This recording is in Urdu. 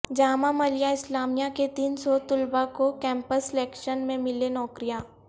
جامعہ ملیہ اسلامیہ کے تین سو طلبا کو کیمپس سلیکشن میں ملیں نوکریاں